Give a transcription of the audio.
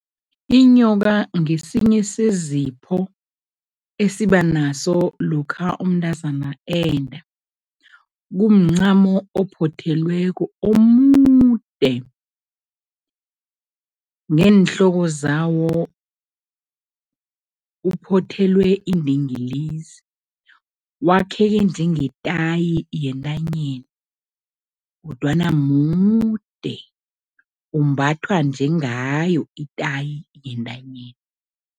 Inyoka ngesinye sezipho esiba naso lokha umntazana enda. Kumncamo ophothelweko, omude, neenhloko zawo uphothelwe indingilizi, wakheke njengetayi yentanyeni kodwana mude, umbathwa njengayo itayi yentanyeni.